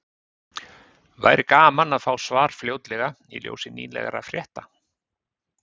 Væri gaman að fá svar fljótlega í ljósi nýlegra frétta.